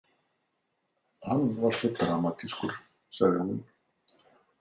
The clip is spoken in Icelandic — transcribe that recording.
Hann var svo dramatískur, sagði hún.